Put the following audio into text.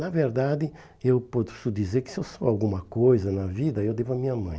Na verdade, eu posso dizer que se eu sou alguma coisa na vida, eu devo à minha mãe.